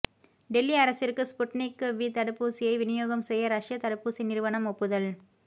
டெல்லி அரசிற்கு Sputnik V தடுப்பூசியை விநியோகம் செய்ய ரஷ்ய தடுப்பூசி நிறுவனம் ஒப்புதல்